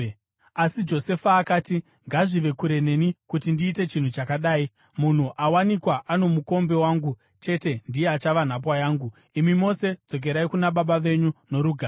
Asi Josefa akati, “Ngazvive kure neni kuti ndiite chinhu chakadai! Munhu awanikwa ano mukombe wangu chete ndiye achava nhapwa yangu. Imi mose, dzokerai kuna baba venyu norugare.”